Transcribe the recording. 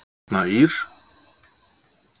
Arna Ýr